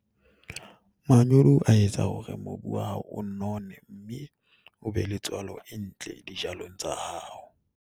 Manyolo a etsa hore mobu wa hao o none, mme o be le tswalo e ntle dijalong tsa hao.